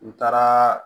U taara